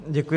Děkuji.